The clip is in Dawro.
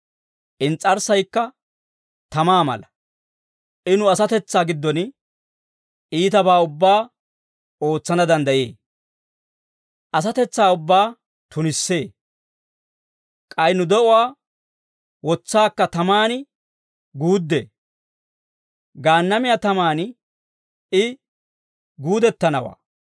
Ins's'arssaykka tamaa mala. I nu asatetsaa giddon iitabaa ubbaa ootsana danddayee; asatetsaa ubbaa tunissee. K'ay nu de'uwaa wotsaakka tamaan guuddee; Gaannamiyaa tamaan I guudettanawaa.